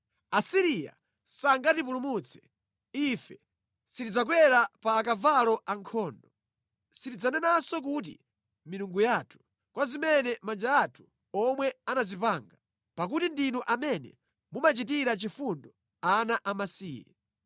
Asiriya sangatipulumutse; ife sitidzakwera pa akavalo ankhondo, sitidzanenanso kuti, ‘Milungu yathu’ kwa zimene manja athu omwe anazipanga, pakuti ndinu amene mumachitira chifundo ana amasiye.”